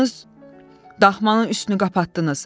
Daxmanız daxmanın üstünü qapatdınız.